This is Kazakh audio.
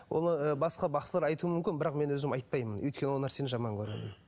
оны ы басқа бақсылар айтуы мүмкін бірақ мен өзім айтпаймын өйткені ол нәрсені жаман көремін